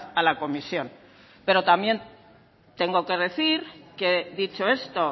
a la comisión pero también tengo que decir que dicho esto